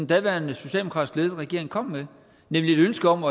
daværende socialdemokratisk ledede regering kom med nemlig et ønske om